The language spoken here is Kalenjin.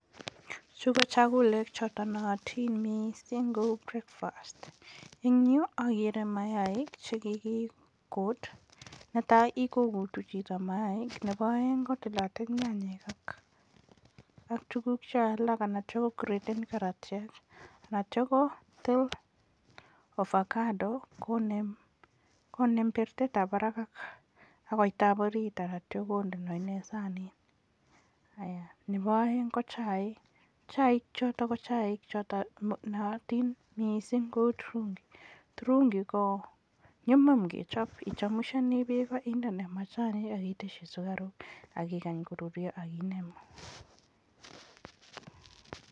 Chu ko chakulek che naatin missing' kou breakfast. Eng' yu akere maaik che kikikuut. Netai kokutu chito maaik. Nepo aeng' kotilatil nyanyek ak tuguk cho atiam kokreten karatiek. Atia kotil ovakado konem pertetap parak ak koita ap orit atiam konde sanit. Nepo aeng' ko chaik. Chaik chotok ko chai che naatin missing' kou turungi. Turungi ko nyumnyum kechop, ichemusheni peek indene machanik ak iteschi sukaruk ak ikany korurya ak inemu.